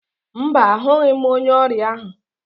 Mba, ahụghị m onye ọrịa ahụ